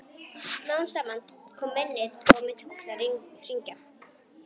Smám saman kom minnið og mér tókst að hringja.